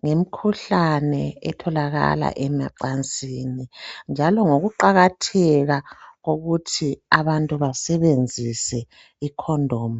ngemkhuhlane etholakala emacansini njalo ngokuqakatheka kokuthi abantu basebenzise icondom.